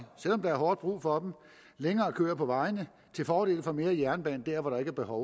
selv om der er hårdt brug for dem længere køer på vejene til fordel for mere jernbane der hvor der ikke er behov